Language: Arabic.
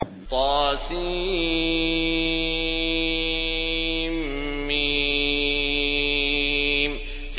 طسم